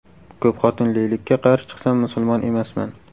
Ko‘pxotinlilikka qarshi chiqsam musulmon emasman.